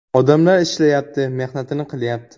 Odamlar ishlayapti, mehnatini qilyapti.